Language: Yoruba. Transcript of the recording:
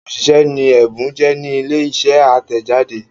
òṣìṣẹ́ ni Ẹ̀bùn jẹ́ ní ilé iṣẹ́ atẹjade.